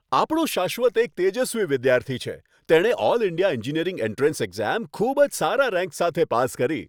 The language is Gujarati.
આપણો શાશ્વત એક તેજસ્વી વિદ્યાર્થી છે! તેણે all India engineering entrance exam ખૂબ જ સારા રેન્ક સાથે પાસ કરી.